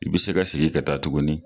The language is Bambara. I bi se ka sigi ka taa tuguni